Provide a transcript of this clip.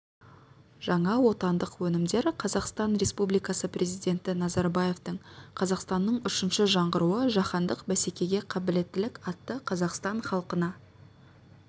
жаңа отандық өнімдер қазақстан республикасы президенті назарбаевтың қазақстанның үшінші жаңғыруы жаһандық бәсекеге қабілеттілік атты қазақстан халқына